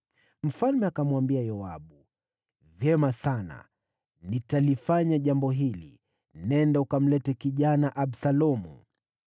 Mfalme akamwambia Yoabu, “Vyema sana, nitalifanya jambo hili. Nenda, ukamlete kijana Absalomu.”